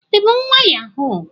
i bu nwa yahoo?